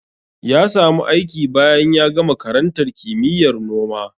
Ya samu aiki bayan ya gama karantar kimiyyar noma.